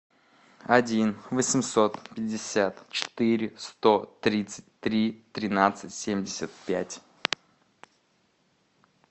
один восемьсот пятьдесят четыре сто тридцать три тринадцать семьдесят пять